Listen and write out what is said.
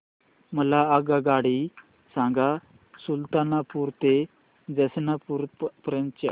मला आगगाडी सांगा सुलतानपूर ते जौनपुर पर्यंत च्या